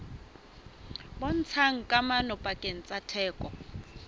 bontshang kamano pakeng tsa theko